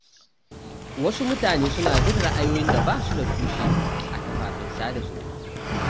Wasu mutane suna bin ra’ayoyin da ba su da tushe a kafafen sada zumunta.